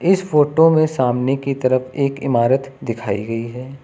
इस फोटो में सामने की तरफ एक इमारत दिखाई गई है।